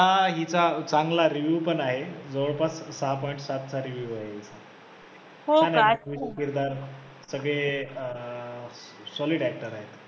हा हिचा चांगला review पण आहे, जवळपास सहा point सातचा review आहे किरदार सगळे अं solid actor आहे